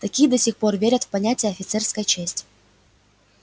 такие до сих пор верят в понятие офицерская честь